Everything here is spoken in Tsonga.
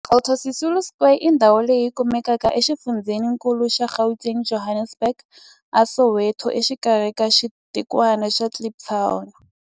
Walter Sisulu Square i ndhawu leyi kumekaka exifundzheninkulu xa Gauteng, Johannesburg, a Soweto, exikarhi ka xitikwana xa Kliptown.